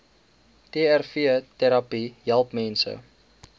trvterapie help mense